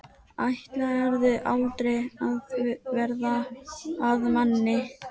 Ætlarðu aldrei að verða að manni?